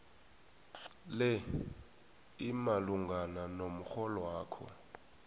le imalungana nomrholwakho